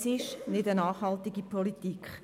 Es ist keine nachhaltige Politik.